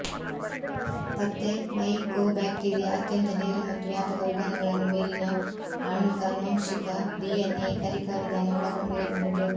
ಪತ್ತೆ ಮೈಕೋಬ್ಯಾಕ್ಟೀರಿಯಾ ಅತ್ಯಂತ ನೇರ ಮತ್ತು ವ್ಯಾಪಕ ವಿಧಾನಗಳನ್ನು ಮೇಲಿನ ಆಣ್ವಿಕ ಆನುವಂಶಿಕ ಡಿಎನ್ಎ ಕಲಿಕಾ ವಿಧಾನ ಒಳಗೊಂಡಿರಬಹುದು